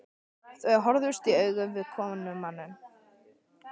Þau horfast í augu við komumann.